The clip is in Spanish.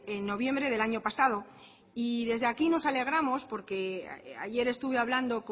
en noviembre del año pasado y desde aquí nos alegramos porque ayer estuve hablando